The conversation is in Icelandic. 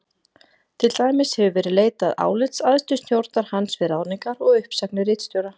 Til dæmis hefur verið leitað álits æðstu stjórnar hans við ráðningar og uppsagnir ritstjóra.